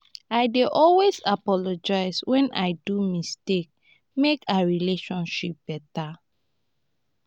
i dey always apologize wen i do mistake make our relationship beta.